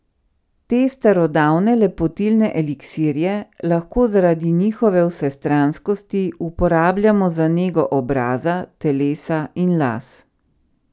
Te starodavne lepotilne eliksirje lahko zaradi njihove vsestranskosti uporabljamo za nego obraza, telesa in las.